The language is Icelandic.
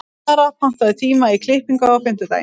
Lara, pantaðu tíma í klippingu á fimmtudaginn.